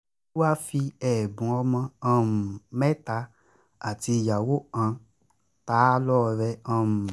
olúwa fi ẹ̀bùn ọmọ um mẹ́ta àti ìyàwó kan ta á á lọ́rẹ um